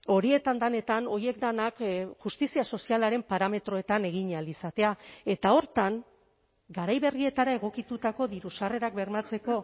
horietan denetan horiek denak justizia sozialaren parametroetan egin ahal izatea eta horretan garai berrietara egokitutako diru sarrerak bermatzeko